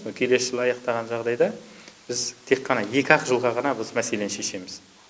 келесі жылы аяқтаған жағдайда біз тек қана екі ақ жылға ғана біз мәселені шешеміз